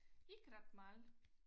Ikke ret meget